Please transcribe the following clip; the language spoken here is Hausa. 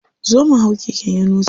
Zo mu hau keken yunusa.